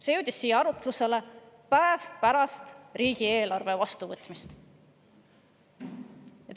See jõudis siia päev pärast riigieelarve vastuvõtmist.